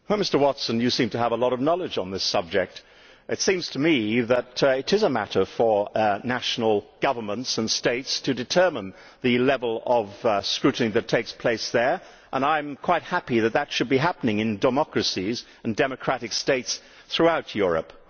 Well, Sir Graham, you seem to have a lot of knowledge on this subject. It seems to me that it is a matter for national governments and states to determine the level of scrutiny that takes places there, and I am quite happy that that should be happening in democracies and democratic states throughout Europe.